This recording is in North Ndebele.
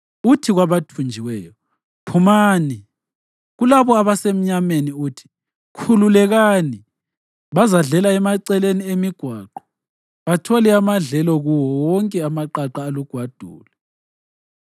uthi kwabathunjiweyo, ‘Phumani,’ kulabo abasemnyameni uthi, ‘Khululekani!’ Bazadlela emaceleni emigwaqo bathole amadlelo kuwo wonke amaqaqa alugwadule.